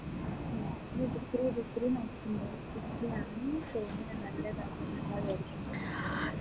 നോക്കുന്നു degree ആ ചെയ്യുന്നെ നല്ലതാ എന്നാ വിചാരിക്കുന്നെ